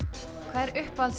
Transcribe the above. hvað er uppáhalds